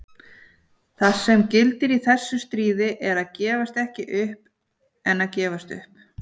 Það sem gildir í þessu stríði er að gefast ekki upp en gefast upp.